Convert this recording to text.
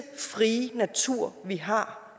frie natur vi har